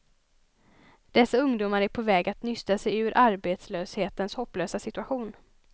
Dessa ungdomar är på väg att nysta sig ur arbetslöshetens hopplösa situation.